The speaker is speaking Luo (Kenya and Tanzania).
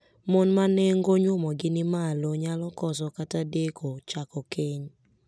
Mon ma nengo nyuomogi ni malo nyalo koso kata deko chako keny.